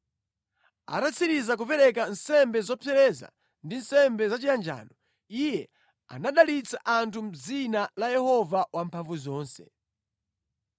Atatsiriza kupereka nsembe zopsereza ndi nsembe zachiyanjano, iye anadalitsa anthu mʼdzina la Yehova Wamphamvuzonse.